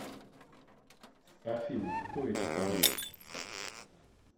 афина кто эти парни